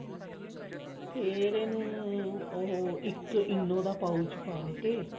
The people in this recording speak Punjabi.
ਫ਼ੇਰ ਉਹਇੱਕ ENO ਦਾ pouch ਪਾ ਕੇ